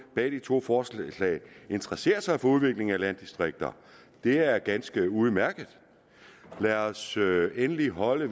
bag de to forslag interesserer sig for udviklingen af landdistrikter det er ganske udmærket lad os endelig holde